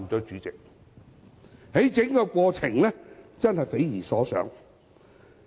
整個過程確實匪夷所思。